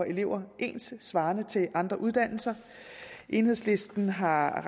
elever ens svarende til andre uddannelser enhedslisten har